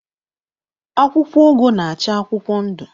Akwụkwọ ugu na-acha akwụkwọ ndụ.